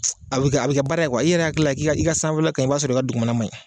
a bɛ kɛ a bɛ kɛ baara ye i yɛrɛ hakili la k'i ka i ka sanfɛla ka ɲi i b'a sɔrɔ i ka dugumana man ɲi.